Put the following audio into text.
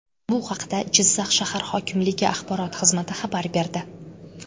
Bu haqda Jizzax shahar hokimligi axborot xizmati xabar berdi.